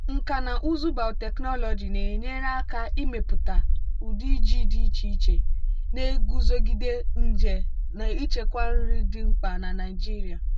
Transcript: nkà na ụzụ biotechnology na-enyere aka ịmepụta ụdị ji dị iche iche na-eguzogide nje na-echekwa nri dị mkpa na nigeria.